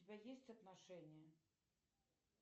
у тебя есть отношения